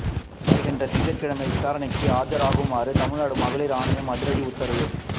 வருகின்ற திங்கட்கிழமை விசாரணைக்கு ஆஜராகுமாறு தமிழ்நாடு மகளிர் ஆணையம் அதிரடி உத்தரவு